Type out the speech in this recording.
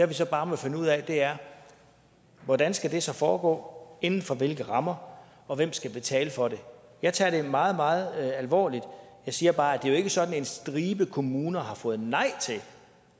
vi så bare må finde ud af er hvordan skal det så foregå inden for hvilke rammer og hvem skal betale for det jeg tager det meget meget alvorligt jeg siger bare at det er sådan at en stribe kommuner har fået nej til